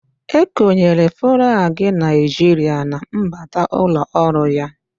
E konyere flaagị Naịjirịa na mbata ụlọ ọrụ ya